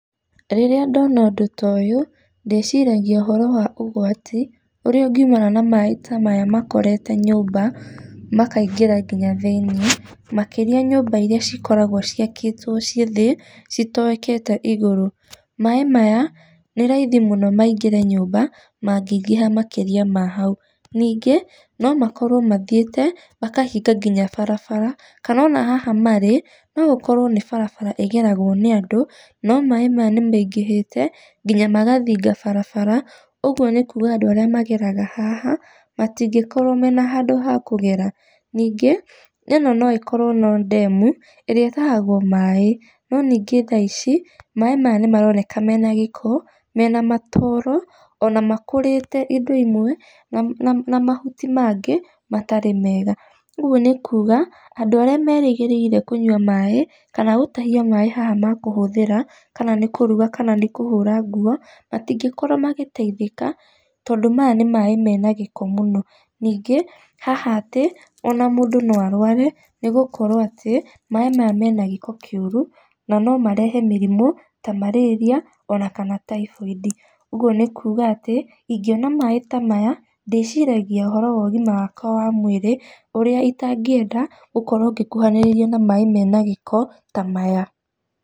Rĩrĩa ndona ũndũ toyũ, ndĩciragia ũhoro wa ũgwati ũrĩa ũngiumana na maĩ ta maya makorete nyũmba makaingĩra nginya thĩiniĩ. Makĩrĩa nyũmba iria cikoragwo ciakĩtwo ciĩ thĩ citoekete igũrũ. Maĩ maya, nĩ raithi mũno maingĩre nyũmba mangĩingĩha makĩria ma hau. Ningĩ no makorwo mathiĩte makahinga nginya barabara kana ona haha marĩ, no gũkorwo nĩ barabara ĩgeragwo nĩ andũ no maĩ maya nĩ maingĩhĩte nginya magathinga barabara ũguo nĩ kuga andũ arĩa mageraga haha matingĩkorwo mena handũ ha kũgera. Ningĩ ĩno noĩkorwo no ndemu ĩrĩa ĩtahagwo maĩ, no ningĩ thaa ici maĩ maya nĩ maroneka mena gĩko mena matooro ona makũrĩte indo imwe na mahuti mangĩ matarĩ mega. Ũguo nĩ kuga andũ arĩa merĩgĩrĩire kũnyua maĩ, kana gũtahia maĩ haha ma kũhũthĩra kana nĩ kũruga kana nĩ kũhũra nguo matingĩkorwo magĩteithĩka, tondũ maya nĩ maĩ mena gĩko mũno. Ona ningĩ haha atĩ ona mũndũ no arware nĩgũkorwo atĩ maĩ maya mena gĩko kĩũru na no marehe mĩrimũ ta marĩria ona kana taiboindi. Ũguo nĩ kuga atĩ ingĩona maĩ ta maya ndĩciiragia ũhoro wa ũgima wakwa wa mwĩrĩ ũrĩa itangĩenda gũkorwo ngĩkuhanĩrĩria na maĩ mena gĩko ta maya.